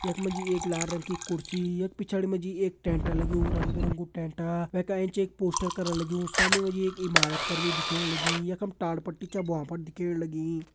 यख मा जी एक लाल रंग की कुर्सी यख पिछाड़ी मा जी एक टेंट लग्युं रंग बिरंगु टेंटा वैका एंच एक पोस्टर करा लग्युं सामणी मा जी एक इमारत कर भी दिखेण लगीं यखम टाट पट्टी छ भ्वां पर दिखेण लगीं।